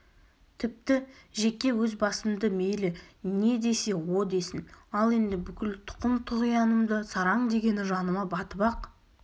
тіпті жеке өз басымды мейлі не десе о десін ал енді бүкіл тұқым-тұғиянымды сараң дегені жаныма батып-ақ